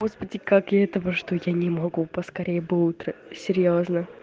господи как я этого что я не могу поскорее бы утро серьёзно